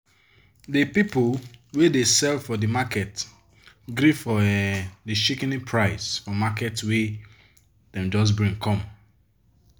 di people wey dey sell for di market gree for um di shikini price for market wey dem just bring come.